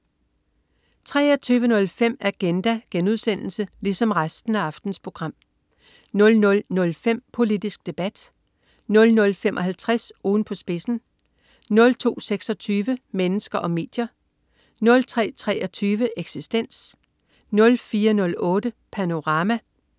23.05 Agenda* 00.05 Politisk Debat* 00.55 Ugen på spidsen* 02.26 Mennesker og medier* 03.23 Eksistens* 04.08 Panorama*